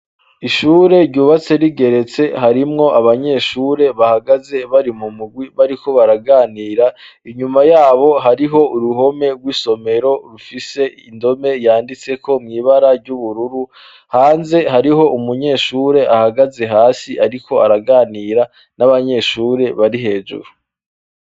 ishure ryubatse rigeretse harimwo abanyeshure bahagaze bari mu mugwi bariko baraganira inyuma yabo hariho uruhome rw'isomero rufise indome yanditseko mwibara ry'ubururu hanze hariho umunyeshure ahagaze hasi ariko araganira n'abanyeshure bari hejuru